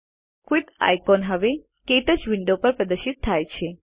quit icon હવે ક્ટચ window પર પ્રદર્શિત થાય છે